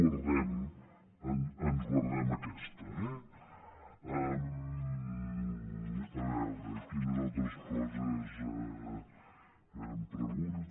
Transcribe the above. però ens guardem aquesta eh a veure quines altres coses em pregunta